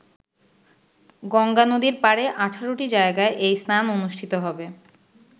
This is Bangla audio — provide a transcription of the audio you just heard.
গঙ্গা নদীর পাড়ে ১৮ টি জায়গায় এই স্নান অনুষ্ঠিত হবে।